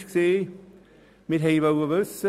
Die andere ist Folgende: